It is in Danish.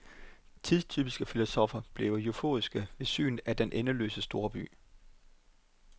Tidstypiske filosoffer bliver euforiske ved synet af den endeløse storby.